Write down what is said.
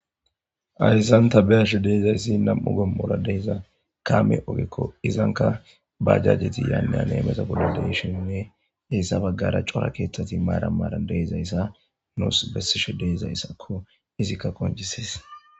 Hayssan ta beiashe deizayssi nam'u qomora deiza kaame oggeeko izzanka bajjajeti yane hane hameta bolla deishinine hessa beggara coora keththati maaran maaran deizayssa nus besishe deizayssako izzika qonccises.